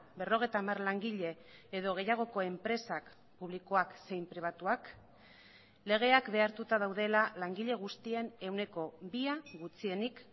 berrogeita hamar langile edo gehiagoko enpresak publikoak zein pribatuak legeak behartuta daudela langile guztien ehuneko bia gutxienik